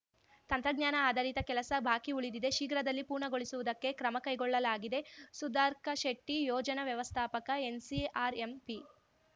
ತಂತ್ರಜ್ಞಾನ ಆಧರಿತ ಕೆಲಸ ಬಾಕಿ ಉಳಿದಿದೆ ಶೀಘ್ರದಲ್ಲಿ ಪೂರ್ಣಗೊಳಿಸುವುದಕ್ಕೆ ಕ್ರಮ ಕೈಗೊಳ್ಳಲಾಗಿದೆ ಸುಧಾರ್ಕ ಶೆಟ್ಟಿ ಯೋಜನಾ ವ್ಯವಸ್ಥಾಪಕ ಎನ್‌ಸಿಆರ್‌ಎಂಪಿ